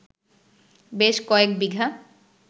বেশ কয়েক বিঘা